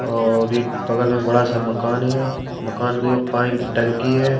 और एक बगल में बड़ा सा मकान है मकान के ऊपर पानी की टंकी है।